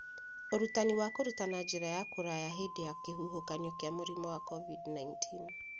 Ũrutani wa kũruta na njĩra ya kũraya hĩndĩ ya kĩhuhokanio kĩa mũrimũ wa COVID-19